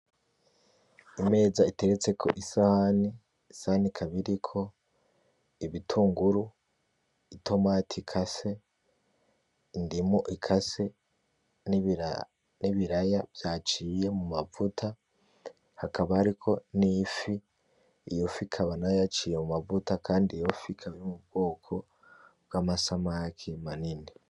Imeza iteretseko isahani. Isahani ikaba iriko ibitunguru, itomati ikase, indimu ikase n'ibiraya vyaciye mu mavuta hakaba hariko n'ifi, iyo fi ikaba yaciye mu mavuta ikaba ar'ubwoko bw'amasamake manini.